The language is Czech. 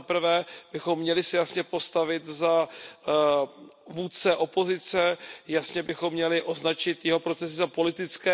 Zaprvé, měli bychom se jasně postavit za vůdce opozice, jasně bychom měli označit jeho procesy za politické.